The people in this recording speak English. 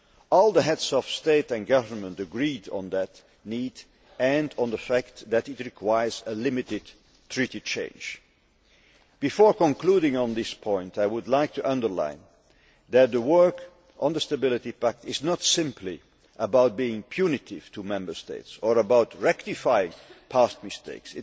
All the Heads of State or Government agreed on that need and on the fact that it requires a limited treaty change. Before concluding on this point, I would like to underline that the work on the Stability Pact is not simply about being punitive to Member States or about rectifying past mistakes.